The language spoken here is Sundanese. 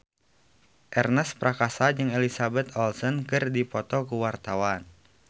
Ernest Prakasa jeung Elizabeth Olsen keur dipoto ku wartawan